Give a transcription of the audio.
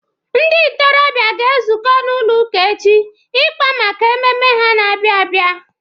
Ndị ntorobịa ga-ezuko n'ụlọ ụka echi ịkpa maka mmemme ha na-abịa abịa.